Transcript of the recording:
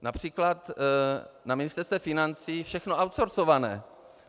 Například na Ministerstvu financí všechno outsourceované.